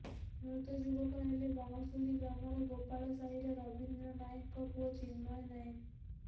ମୃତ ଯୁବକ ହେଲେ ବାଉଁଶୁଳି ଗ୍ରାମର ଗୋପାଳିସାହିର ରବିନ୍ଦ୍ର ନାଏକଙ୍କ ପୁଅ ଚିନ୍ମୟ ନାଏକ